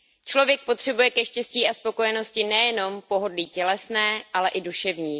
Člověk potřebuje ke štěstí a spokojenosti nejenom pohodlí tělesné, ale i duševní.